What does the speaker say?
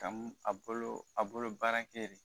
Ka a bolo a bolo baarakɛ re